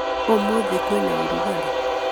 Ũmũthĩ kwĩna ũrugarĩ